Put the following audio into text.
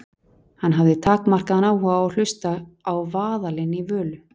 Hann hafði takmarkaðan áhuga á að hlusta á vaðalinn í Völu.